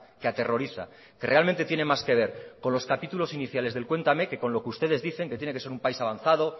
que aterroriza que realmente tiene más que ver con los capítulos iniciales del cuéntame que con lo que ustedes dicen que tiene que ser un país avanzado